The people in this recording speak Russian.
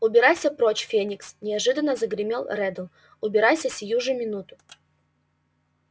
убирайся прочь феникс неожиданно загремел реддл убирайся сию же минуту